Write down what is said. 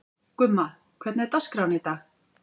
Gumma, hvernig er dagskráin í dag?